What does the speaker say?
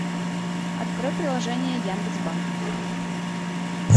открой приложение яндекс банк